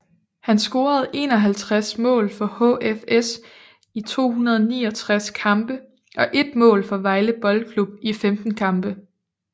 Han scorede 51 mål for HFS i 269 kampe og 1 mål for Vejle Boldklub i 15 kampe